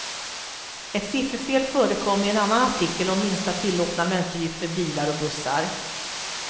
Ett sifferfel förekom i en annan artikel om minsta tillåtna mönsterdjup för bilar och bussar.